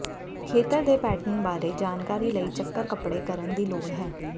ਖੇਤਰ ਦੇ ਪੈਟਰਨ ਬਾਰੇ ਜਾਣਕਾਰੀ ਲਈ ਚੱਕਰ ਕੱਪੜੇ ਕਰਨ ਦੀ ਲੋੜ ਹੈ